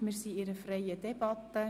Wir führen eine freie Debatte.